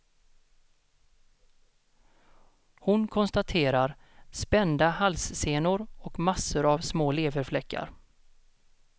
Hon konstaterar spända halssenor och massor av små leverfläckar.